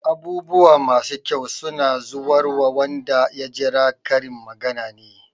"Abubuwa masu kyau suna zuwarwa wanda ya jira" Karin magana ne.